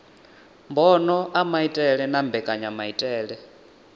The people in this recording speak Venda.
mbono a maitele na mbekanyamaitele